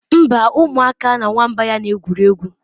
Mba, ụmụaka na nwamba ya na-egwuri egwu